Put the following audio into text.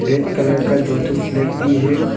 Red colour का दो ठो फ्लैग भी है।